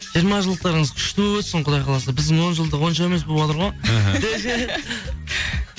жиырма жылдықтарыңыз күшті болып өтсін құдай қаласа біздің он жылдық онша емес болыватыр ғой